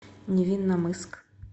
невинномысск